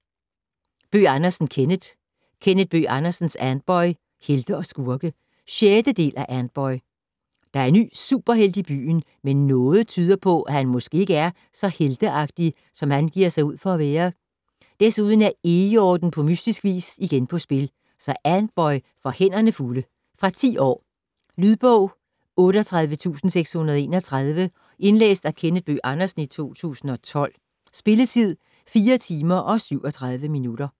Bøgh Andersen, Kenneth: Kenneth Bøgh Andersens Antboy - helte og skurke 6. del af Antboy. Der er en ny superhelt i byen, men noget tyder på, at han måske ikke er så helteagtig som han giver sig ud for at være. Desuden er Eghjorten på mystisk vis igen på spil, så Antboy får hænderne fulde. Fra 10 år. Lydbog 38631 Indlæst af Kenneth Bøgh Andersen, 2012. Spilletid: 4 timer, 37 minutter.